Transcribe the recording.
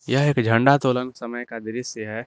यह एक झंडा तोलन के समय का दृश्य है।